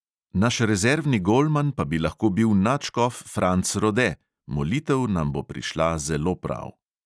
Naš rezervni golman pa bi lahko bil nadškof franc rode, molitev nam bo prišla zelo prav.